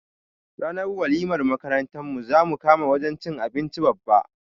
Ranar walimar makarantar mu zamu kama wajan cin abinci Babba